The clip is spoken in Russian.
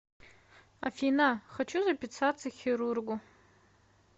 афина хочу записаться к хирургу